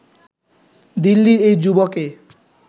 দিল্লির এই যুবাকে